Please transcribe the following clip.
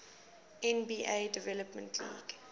nba development league